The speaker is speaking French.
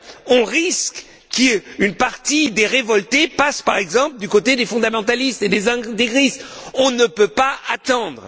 on risque qu'une partie des révoltés passe, par exemple, du côté des fondamentalistes et des intégristes. On ne peut pas attendre.